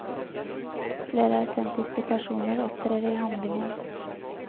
Flere autentiske personer opptrer i handlingen.